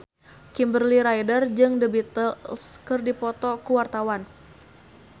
Kimberly Ryder jeung The Beatles keur dipoto ku wartawan